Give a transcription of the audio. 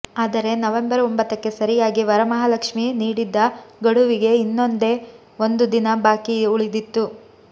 ಆದರೆ ನವೆಂಬರ್ ಒಂಭತ್ತಕ್ಕೆ ಸರಿಯಾಗಿ ವರಮಹಾಲಕ್ಷ್ಮಿ ನೀಡಿದ್ದ ಗಡುವಿಗೆ ಇನ್ನೊಂದೇ ಒಂದು ದಿನ ಬಾಕಿ ಉಳಿದಿತ್ತು